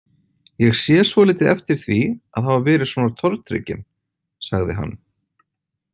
Ég sé svolítið eftir því að hafa verið svona tortrygginn, sagði hann.